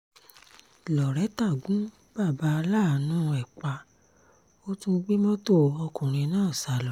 laureta gun bàbá aláàánú ẹ̀ pa ó tún gbé mọ́tò ọkùnrin náà sá lọ